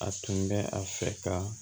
A tun bɛ a fɛ ka